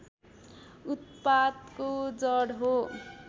उत्पातको जड हो